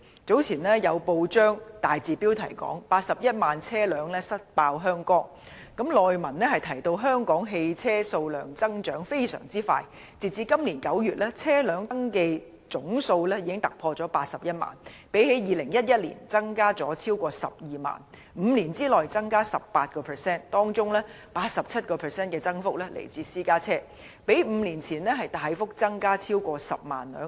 早前有報章大字標題報道 "81 萬車輛塞爆香江"，內文提到香港汽車數量增長非常迅速，截止今年9月，車輛登記總數已突破81萬輛，相較2011年增加超過12萬輛 ，5 年內增加 18%； 當中 87% 的增幅來自私家車，較5年前大幅增加超過10萬輛。